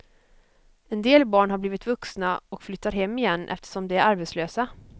En del barn har blivit vuxna och flyttar hem igen eftersom de är arbetslösa.